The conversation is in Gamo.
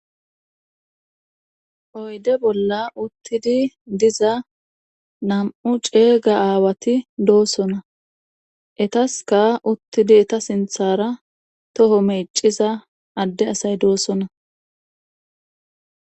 Oyde bolla uttidi diza nam7u ceega aawati doosona etaska uttidi eta sinthara toho meeciza adde asay doosona.